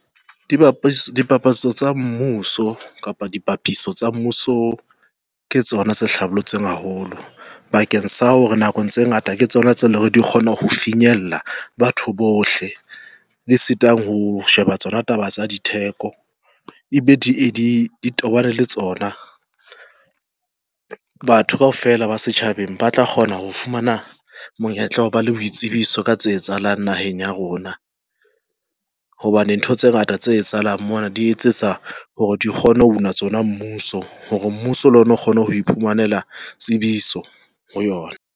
Dipapatso tsa mmuso kapa dipapiso tsa mmuso ke tsona tse hlabollotsweng haholo bakeng sa hore nako tse ngata ke tsona tse leng hore di kgona ho finyella batho bohle e sitang ho sheba tsona taba tsa ditheko e tobane le tsona batho kaofela ba setjhabeng ba tla kgona ho fumana monyetla wa ho ba le boitsebiso ka tse etsahalang naheng ya rona hobane ntho tse ngata tse etsahalang mona di etsetsa hore di kgone ho tsona mmuso hore mmuso le ona o kgone ho iphumanela tsebiso ho yona.